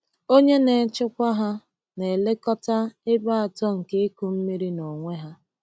Onye na-achịkwa ha na-elekọta ebe atọ nke ịkụ mmiri n’onwe ha.